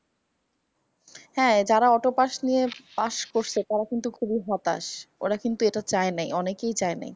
হ্যা যারা অত পাস নিয়ে পাস করছে তারা কিন্তু খুব হতাশ । ওরা কিন্তু এটা চায়নি অনেকই চায়নি।